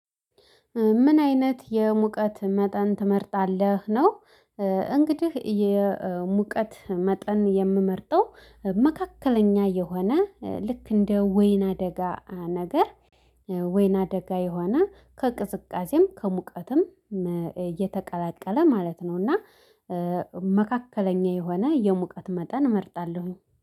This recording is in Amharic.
ምን አይነት የሙቀት መጠን ትመርጣለህ ነው? እንግዲህ የሙቀት መጠን የምመርጠው መካከለኛ የሆነ ልክ እንደ ወይን አደጋ። ወይና ደጋ የሆነ ከቅዝቃዜም ከሙቀትም እየተቀላቀለ ማለት ነው። እና መካከለኛ የሆነ የሙቀት መጠን እመርጣለሁኝ